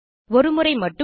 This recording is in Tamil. ஒரு முறை மட்டும் ரூ